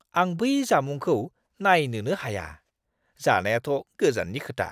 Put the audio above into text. आं बै जामुंखौ नायनोनो हाया, जानायाथ' गोजाननि खोथा!